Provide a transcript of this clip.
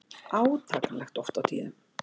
Átakanlegt oft á tíðum.